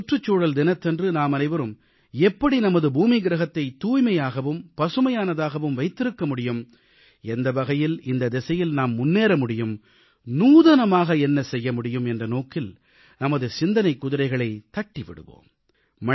இந்த சுற்றுச்சூழல் தினத்தன்று நாமனைவரும் எப்படி நமது பூமியை தூய்மையாகவும் பசுமையானதாகவும் வைத்திருக்க முடியும் எந்த வகையில் இந்த திசையில் நாம் முன்னேற முடியும் நூதனமாக என்ன செய்ய முடியும் என்ற நோக்கில் நமது சிந்தனைக் குதிரைகளைத் தட்டி விடுவோம்